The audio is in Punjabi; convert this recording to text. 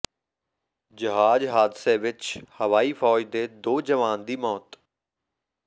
ਜਹਾਜ਼ ਹਾਦਸੇ ਵਿੱਚ ਹਵਾਈ ਫ਼ੌਜ ਦੇ ਦੋ ਜਵਾਨ ਦੀ ਮੌਤ